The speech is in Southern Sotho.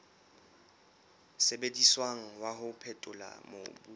sebediswang wa ho phethola mobu